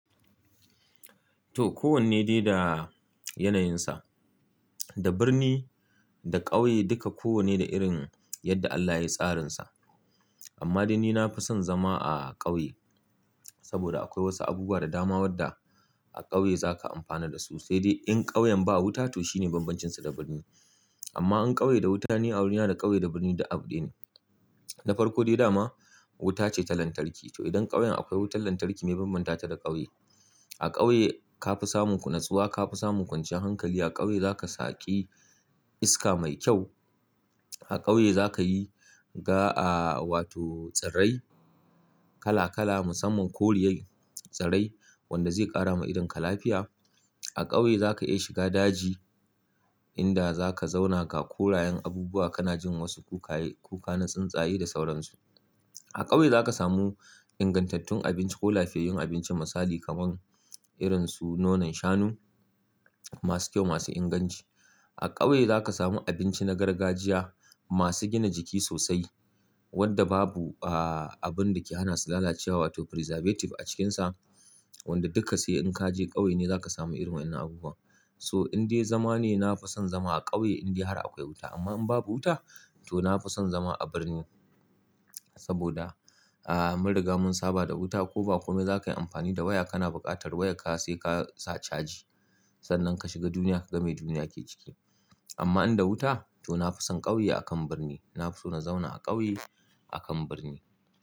To kowanne dai da yanayinsa, da birni da ƙauye duka kowanne da irin yadda Allah yayi tsarinsa. Amma dai ni nafi son zama a ƙauye saboda akwai wasu abubuwan da dama wadda a ƙauye zaka amfana dasu. Sai dai in ƙauyen ba wuta to shine bambancinsu da birni. Amma in ƙauye da wuta ne, ni a gurina da ƙauye da birni duk abu daya ne. Na farko dai dama wuta ce ta lantarki. To idan ƙauyen akwai wutar lantarki mai ya bambanta ta da ƙauyen. A ƙauye ka fi samun nutsuwa, ka fi samun kwanciyar hankali. A ƙauye zaka shaki iska mai kyau. A ƙauye zaka na ganin wato tsirrai kala kala musamman koriyar tsirrai wanda zai ƙara ma idonka lafiya. A ƙauye zaka iya shiga daji inda zaka zauna ga korayen abubuwa kana jin wasu kukan tsuntsaye da sauransu. A ƙauye zaka samu ingantattun abinci ko lafiyayyun abincin misali kamar irin su nonon shanu masu kyau masu inganci. A ƙauye zaka samu abinci na gargajiya masu gina jiki sosai wadda babu abun dake hana su lalacewa wato preservative a cikinsa wanda duka sai in kaje ƙauye ne zaka samu irin wannan abubuwa. So in dai zama ne nafi son zama a ƙauye in dai har akwai wuta. Amma in babu wuta to nafi son zama a birni saboda mun riga mun saba da wuta ko ba kome zakayi amfani da waya kana buƙatar waya ka sai ka sa caji sannan ka shiga duniya ka ga me duniyar ke ciki. Amma in da wuta to nafi son ƙauye akan birni. Nafi son na zauna a ƙauye akan birni.